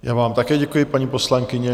Já vám také děkuji, paní poslankyně.